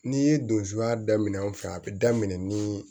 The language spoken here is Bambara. N'i ye donsoya daminɛ anw fɛ yan a bɛ daminɛ ni